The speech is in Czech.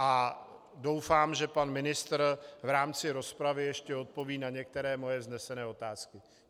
A doufám, že pan ministr v rámci rozpravy ještě odpoví na některé moje vznesené otázky.